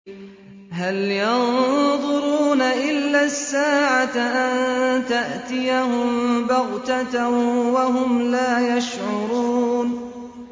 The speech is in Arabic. هَلْ يَنظُرُونَ إِلَّا السَّاعَةَ أَن تَأْتِيَهُم بَغْتَةً وَهُمْ لَا يَشْعُرُونَ